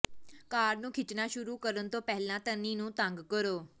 ਕਾਰ ਨੂੰ ਖਿੱਚਣਾ ਸ਼ੁਰੂ ਕਰਨ ਤੋਂ ਪਹਿਲਾਂ ਤਣੀ ਨੂੰ ਤੰਗ ਕਰੋ